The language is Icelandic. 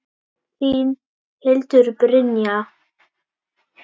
Þín, Hildur Brynja.